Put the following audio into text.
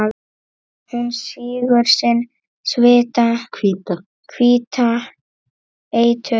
Hún sýgur sinn hvíta eitur